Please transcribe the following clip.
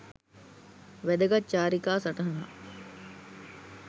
වැදගත් චාරිකා සටහනක්